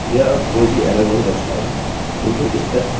यह अब कोई भी एररerror नहीं दर्शाएगा